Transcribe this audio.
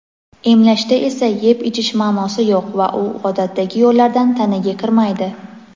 Emlashda esa yeb-ichish ma’nosi yo‘q va u odatdagi yo‘llardan tanaga kirmaydi.